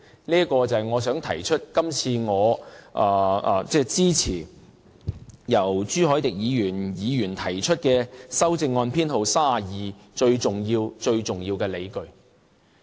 這是我今次支持朱凱廸議員提出修正案編號32最重要的理據。